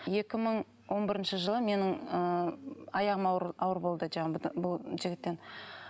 екі мың он бірінші жылы менің ы аяғым ауыр ауыр болды жаңағы жігіттен